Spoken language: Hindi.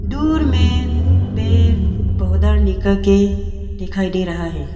दूर में पेड़ पौधा निकल के दिखाई दे रहा हैं।